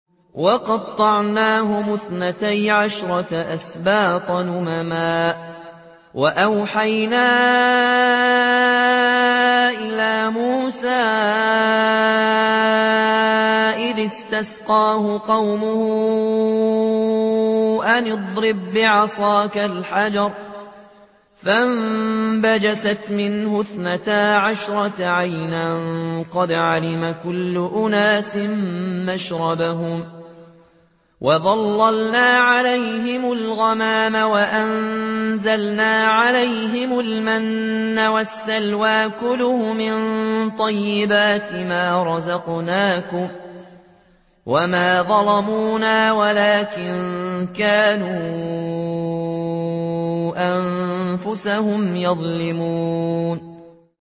وَقَطَّعْنَاهُمُ اثْنَتَيْ عَشْرَةَ أَسْبَاطًا أُمَمًا ۚ وَأَوْحَيْنَا إِلَىٰ مُوسَىٰ إِذِ اسْتَسْقَاهُ قَوْمُهُ أَنِ اضْرِب بِّعَصَاكَ الْحَجَرَ ۖ فَانبَجَسَتْ مِنْهُ اثْنَتَا عَشْرَةَ عَيْنًا ۖ قَدْ عَلِمَ كُلُّ أُنَاسٍ مَّشْرَبَهُمْ ۚ وَظَلَّلْنَا عَلَيْهِمُ الْغَمَامَ وَأَنزَلْنَا عَلَيْهِمُ الْمَنَّ وَالسَّلْوَىٰ ۖ كُلُوا مِن طَيِّبَاتِ مَا رَزَقْنَاكُمْ ۚ وَمَا ظَلَمُونَا وَلَٰكِن كَانُوا أَنفُسَهُمْ يَظْلِمُونَ